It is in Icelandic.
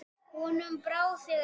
Honum brá þegar ég vakti hann.